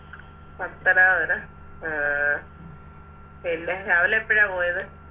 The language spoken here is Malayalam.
പത്തനാപുരം ആഹ് പിന്നെ രാവിലെ എപ്പഴാ പോയത്